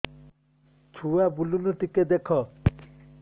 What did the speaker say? ଛୁଆ ବୁଲୁନି ଟିକେ ଦେଖ